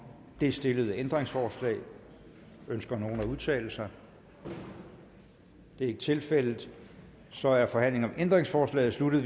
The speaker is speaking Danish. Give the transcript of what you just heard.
det stillede ændringsforslag ønsker nogen at udtale sig det er ikke tilfældet så er forhandlingen om ændringsforslaget sluttet